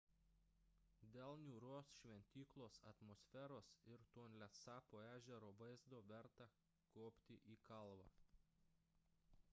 dėl niūrios šventyklos atmosferos ir tonlesapo ežero vaizdo verta kopti į kalvą